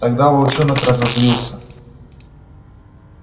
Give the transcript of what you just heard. тогда волчонок разозлился